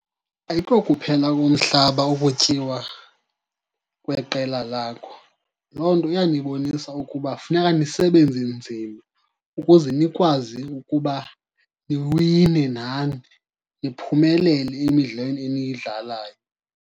Ayikokuphela komhlaba ukutyiwa kweqela lakho. Loo nto iyanibonisa ukuba funeka nisebenze nzima ukuze nikwazi ukuba niwine nani, niphumelele emidlalweni eniyidlalayo.